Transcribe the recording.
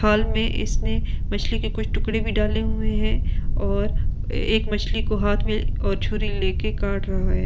फल में इसने मछली के कुछ टुकड़े भी डाले हुए है और एक मछली को हाथ में ऑ छुली लेकर काट रहा है ।